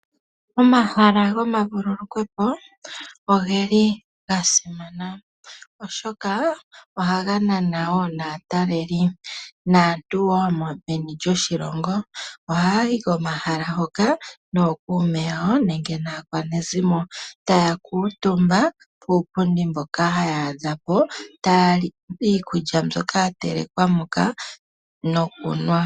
Omahala gomavululukwepo oge li ga simana oshoka ohaga nana wo naataleli. Naantu wo meni lyoshilongo ohaya yi komahala hoka nookuume yawo nenge naakwanezimo, taya kuutumba puupundi mboka haya adha po, taya li iikulya mbyoka ya telekwa moka nokunwa.